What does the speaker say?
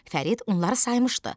Fərid onları saymışdı.